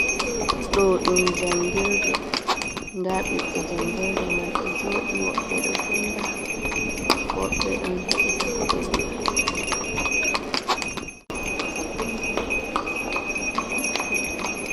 Ɗo ɗum jangirde nda biɓbe jangirde man ɗo joɗi. Woɓɓe ɗo vinda woɓbe ɗon hedita ko ɓe vi'ata ɓe.